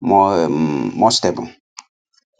more um more stable